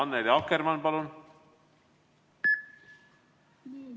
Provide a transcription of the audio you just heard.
Annely Akkermann, palun!